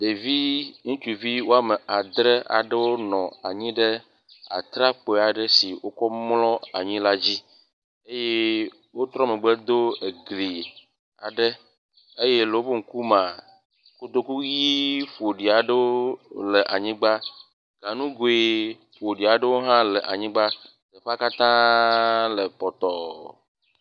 Ɖevi ŋutsuvi wɔme adre aɖewo nɔ anyi ɖe atrakpui aɖe si wokɔ mɔ anyi la dzi eye wotrɔ megbe do egli aɖe eye le woƒe ŋku mea kotoku ʋi ƒoɖi aɖewo le anyigba. Ganugui ƒoɖi aɖewo hã le anyigba. Teƒea katã le pɔtɔ.